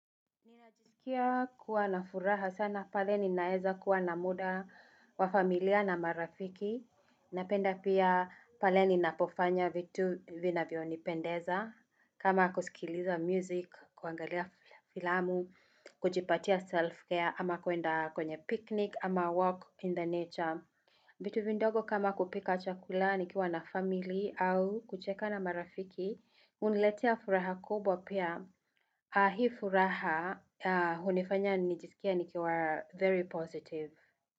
Ninajisikia kuwa na furaha sana pale ninaeza kuwa na muda wa familia na marafiki, napenda pia pale ninapofanya vitu vinavyonipendeza kama kusikiliza muziki, kuangalia filamu, kujipatia self-care ama kwenda kwenye picnic au walk in the nature. Vitu vidogo kama kupika chakula nikiwa na familia au kucheka na marafiki huniletea furaha kubwa pia, na furaha hiyo hunifanya nijisikie nikiwa very positive.